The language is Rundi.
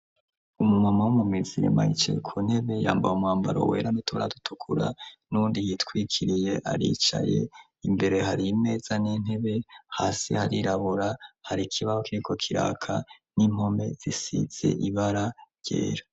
Umu mama womu mizirima yicaye ku ntebe, yambaye umwambaro wera n'uturato dutukura nuwundi yitwikiriye aricaye. Imbere hari imeza n'intebe ,hasi harirabura, hari ikibaho kiriko kiraka n'impome zisize ibara ryera.